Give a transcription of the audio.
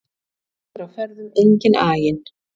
Þá er á ferðum enginn aginn